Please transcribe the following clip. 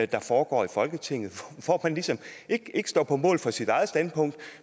der foregår i folketinget hvor man ligesom ikke står på mål for sit eget standpunkt